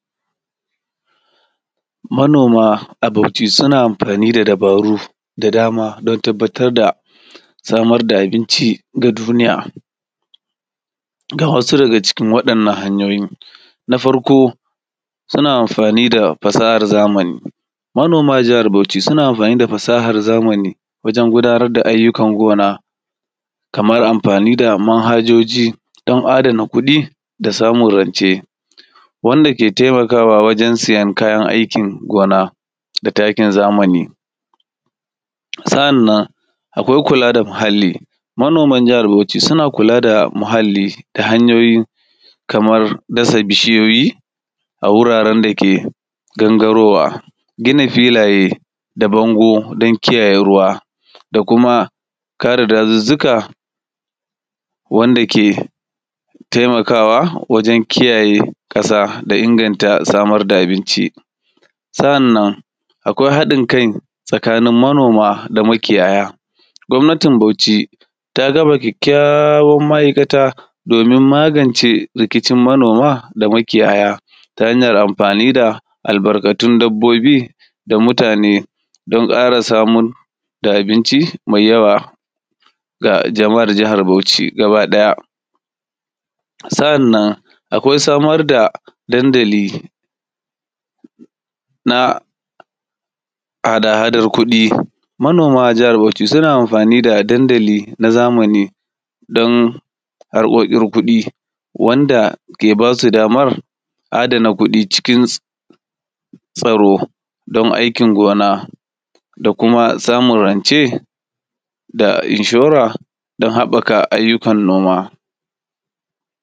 Manoma a Bauchi suna amfani da dabaru da dama don tabbatar da samar da abinci ga duniya ga wasu daga cikin wa ‘yan’ nan hanyoyi. Na farko suna amfani da fasahar zamani manoma a jihar Bauchi suna amfani da fasahar zamani wajen gunar da ayyukan gona kmar anfani da manhajoji dan adana kuɗi da samun rance. Wanda ke taimakawa wajjen siyan kayan aikin gona da takin zamani. Sa’annan akwai kula da muhalli manoman jihar Bauchi suna kulada muhalli ta hanyoyi kamar dasa bishiyoyi a wuraren dake gangarowa gina filaye da bango dan kiyaye ruwa da kuma kare dazuzzuka wanda ke taimakawa wajen kiyaye ƙasa da inganta samar da abinci. Sa’annan akwai haɗin kai tsakanin manoma da makiyaya, gwamnatin Bauchi ta gama kyakyawan ma’aikata domin magance rikicin manoma da makiyayata hanyar amfani da albarkatun dabbobi da mutane dan ƙara samar da abinci mai yawa ga jama’ar jihar Bauchi gaba ɗaya. Sa’annan akwai samar da dandali na al’adan kuɗi manoman a jihar Bauchi suna amfani da dandali na zamani dan harkokin kuɗi wanda ke basu daman adana kuɗi cikin tsaro domin aikin gona da kuma samun rance da inshore da haɓɓaka ayyukan noma.